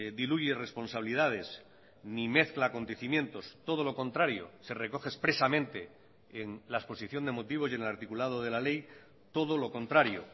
diluye responsabilidades ni mezcla acontecimientos todo lo contrario se recoge expresamente en la exposición de motivos y en el articulado de la ley todo lo contrario